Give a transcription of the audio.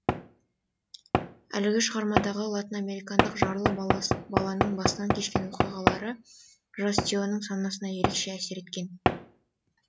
әлгі шығармадағы латынамерикалық жарлы баланың басынан кешкен оқиғалары жас теоның санасына ерекше әсер еткен